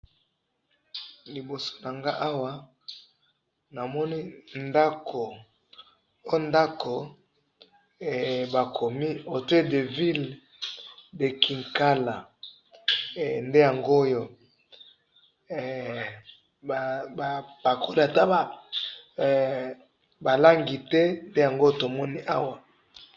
liboso na nga awa namoni ndako, o ndako ba komi hotel de ville de nkinkala, nde yangoyo, pakoli ata ba langi te, nde yango to moni awa.